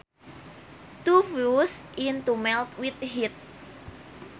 To fuse is to melt with heat